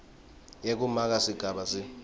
yekumaka sigaba c